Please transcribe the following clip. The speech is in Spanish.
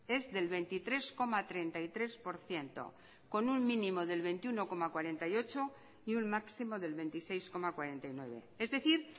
es del veintitrés coma treinta y tres por ciento con un mínimo del veintiuno coma cuarenta y ocho y un máximo del veintiséis coma cuarenta y nueve es decir